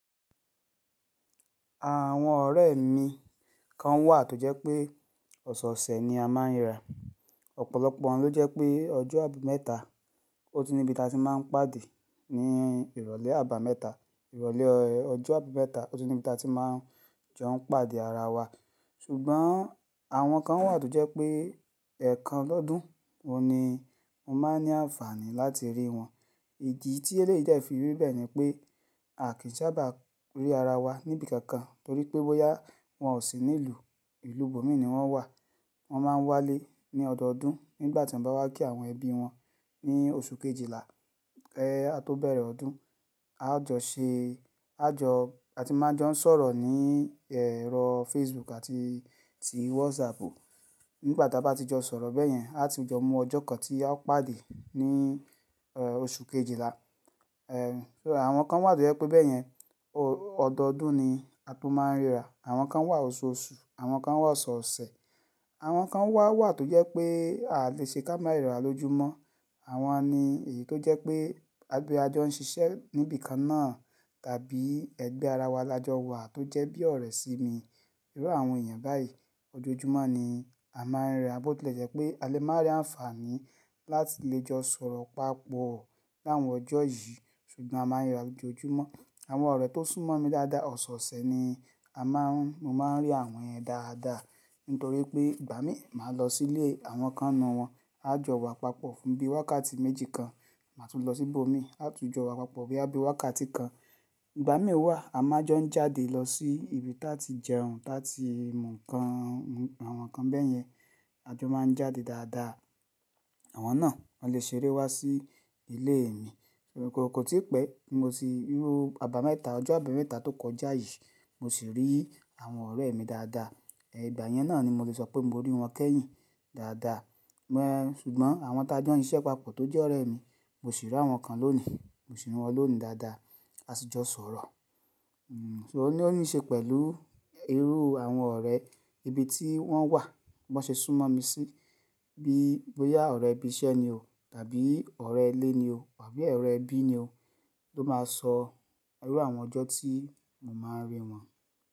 Àwọn ọ̀rẹ́ mi kan wà tó jẹ́ pé ọ̀sọ̀ọ̀sẹ̀ ni a máa ń ríra, ọ̀pọ̀lọpọ̀ wọn ló jẹ́ pé ọjọ́ àbámẹ́ta ó ti níbi tí a ti máa ń pàdé ní ìrọ̀lẹ́ àbámẹ́ta. Ìrọ̀lẹ́ ọjọ́ àbámẹ́ta ó ti níbi tí a ti máa jọ ń pàdé ara wa, ṣùgbọ́n àwọn kan wà tó jẹ́ pé ẹ̀ẹ̀kan lọ́dún oun ni mo máa ní àǹfààní láti rí wọn wọn. Ìdí tí eléyìí jẹ́ dẹ fi ri bẹ́ẹ̀ ni pé a kì í ṣabà rí ara wa níbi kankan torí pé bóyá wọ́n ò sí ní ìlú, ìlú ibòmíràn ni wọ́n wà. Wọ́n máa ń wálé ní ọdọọdún nígbà tí wọ́n bá wá kí àwọn ẹbí wọn ní oṣù kejìlá kí a tó bẹ̀rẹ̀ ọdún. A jọ ṣe-- a jọ, a ti máa jọ ń sọ̀rọ̀ ní ẹ̀rọ Facebook àti ti WhatsApp. Nígbà tí a bá ti jọ sọ̀rọ̀ bẹ́yẹn, a ti jọ mú ọjọ́ kan tí a ó pàdé ní, ẹ, oṣù kejìlá. Ẹ, àwọn kan wà tó jẹ́ pé bẹ́yẹn ọdọdún ni a tó máa ń ríra. Àwọn kan wà oṣooṣù, àwọn kan wà ọ̀sọ̀ọ̀sẹ̀, àwọn kan wà wà tó jẹ́ pé a lè ṣe ká máa rira lójúmọ́. Àwọn ni èyí tó jẹ́ pé ẹgbẹ́ ajọ ń ṣiṣẹ́ níbi kan náà tàbí ẹgbẹ́ ara wa lajọ wà tó jẹ́ bí ọ̀rẹ́ sí mi. Irú àwọn èèyàn báyìí ọjọ́júmọ́ ni a máa ń ríra bó tilẹ̀ jẹ́ pé a lè máa rí àǹfààní láti lè jọ sọ̀rọ̀ papọ̀ ní àwọn ọjọ́ yìí ṣùgbọ́n a máa ń ríra lojoojúmọ́. Àwọn ọ̀rẹ́ tó súnmọ́ mi dáadáa ọ̀sọ̀ọ̀sẹ̀ ni a máa ń, mo máa ń rí àwọn yẹn dáadáa nítorí pé ìgbà mí máa lọ sí ilé àwọn kan ni inù wọn, a jọ wà papọ̀ fún bí wákàtí méjì kan, màá tún lọ sí ibomì, a tún jọ wà papọ̀ bóyá bi wákàtí kan. Ìgbà mí wà a máa jọ ń jáde lọ sí ibi táa ti jẹun, táa ti mu ǹkan, àwọn nkan bẹ́yẹn a jọ máa ń jáde dáadáa. Àwọn náà wọn lè ṣeré wá sí ilé mi. Ṣùgbọ́n kò tí pẹ́ ti mo ti rí irú àbámẹ́ta, ọjọ́ àbámẹ́ta tó kọjá yìí mo ṣi rí àwọn ọ̀rẹ́ mi dáadáa. Ẹ, ìgbà yẹn náà ni mo lè sọ pé mo rí wọn kẹ́yìn dáadáa. Ẹ̀, ṣùgbọ́n àwọn tá jọ ń ṣiṣẹ́ papọ̀ tó jẹ́ ọ̀rẹ́ mi mo sì rí àwọn kan lónìí, mo sì rí wọn lónìí dáadáa, a sì jọ sọ̀rọ̀. Hmm, so ní ó ní ṣe pẹ̀lú irú àwọn ọ̀rẹ́, ibi tí wọ́n wà, b'an ṣe súnmọ́ mi sí, bí bóyá ọ̀rẹ́ ibi iṣẹ́ ni o tàbí ọ̀rẹ́ ilé ni o àbí ọ̀rẹ́ ẹbí ni o tó máa sọ irú àwọn ọjọ́ tí mo máa ń rí wọn.